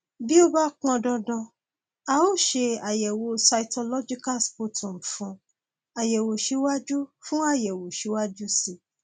bí ó bá pọn dandan a ó ṣe àyẹwò cytological sputum fún àyẹwò síwájú fún àyẹwò síwájú sí i